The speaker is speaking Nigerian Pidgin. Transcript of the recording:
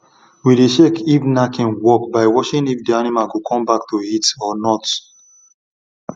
we dey check if knacking work by watching if the animal go come back to heat or not